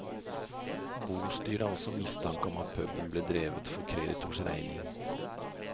Bostyret har også mistanke om at puben ble drevet for kreditors regning.